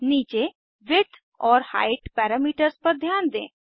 नीचे विड्थ और height parameters पर ध्यान दें